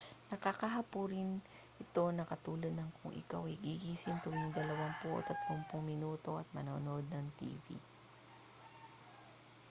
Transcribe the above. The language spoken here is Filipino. nakakahapo rin ito na katulad ng kung ikaw ay gigising tuwing dalawampu o tatlumpung minuto at manonood ng tv